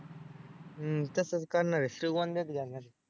हं तसंच करणार आहे श्रीगोंद्यात घेणार आहे.